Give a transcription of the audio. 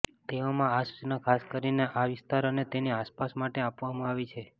તેવામાં આ સૂચના ખાસ કરીને આ વિસ્તાર અને તેની આસપાસ માટે આપવામાં આવી છે